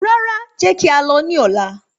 Rárá, jẹ́ kí a lọ ní ọ̀la